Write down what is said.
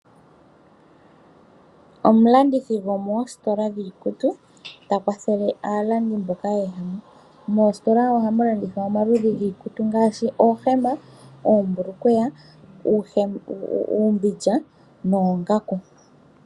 Omulandithi mositola yiikutu ota kwathele aalandi mboka ye ya mo. Moositola ohamu landithwa omaludhi giikutu ngaashi oohema, oombulukweya, uumbindja noongaku.